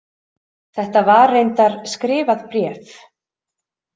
Þetta var reyndar skrifað bréf.